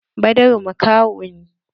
Badaru makaho ne.